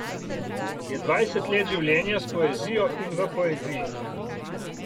Je dvajset let življenja s poezijo in v poeziji.